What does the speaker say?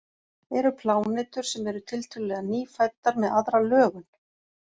Eru plánetur sem eru tiltölulega nýfæddar með aðra lögun?